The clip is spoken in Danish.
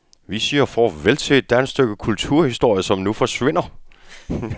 Vi siger farvel til et stykke dansk kulturhistorie, som nu forsvinder.